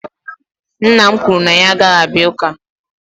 nna m kwuru na ya agaghị abịa Ụka